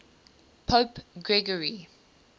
pope gregory